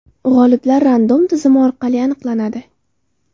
G‘oliblar Random tizimi orqali aniqlanadi.